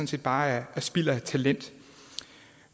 set bare er spild af talent